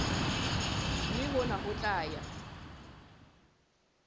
mme hona ho tla ya